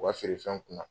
U ka feerefɛnw kunna